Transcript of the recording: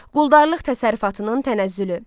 Quldarlıq təsərrüfatının tənəzzülü.